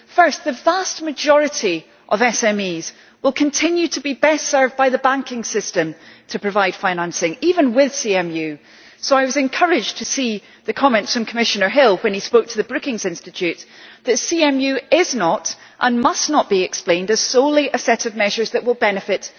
First, the vast majority of SMEs will continue to be best served by the banking system to provide financing, even with the Capital Markets Union so I was encouraged to see the comment from Commissioner Hill, when he spoke to the Brookings Institution, that CMU is not and must not be explained as solely a set of measures that will benefit